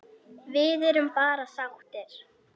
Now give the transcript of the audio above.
Við erum bara sáttir.